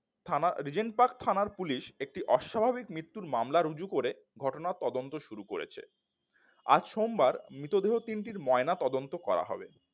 থানা Regent Park থানার police একটি অস্বাভাবিক মৃত্যুর মামলা রুজু করে ঘটনা তদন্ত শুরু করেছে আজ সোমবার মৃতদেহ তিনটির ময়নাতদন্ত করা হবে।